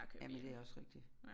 Jamen det også rigtigt